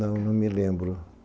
Não, não me lembro.